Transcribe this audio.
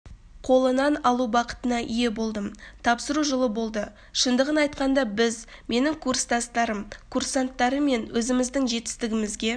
қолынан алу бақытына ие болдым тапсыру жылы болды шындығын айтқанда біз менің курстастарым-курсанттармен өзіміздің жетістігімізге